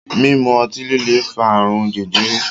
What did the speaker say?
Mímu otí líle ń fa ààrùn jẹjẹrẹ.